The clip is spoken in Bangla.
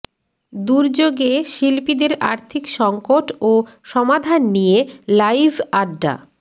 দুর্যোগে শিল্পীদের আর্থিক সংকট ও সমাধান নিয়ে লাইভ আড্ডা